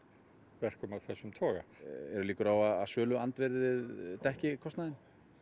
verkum af þessum toga eru líkur á að söluandvirðið dekki kostnaðinn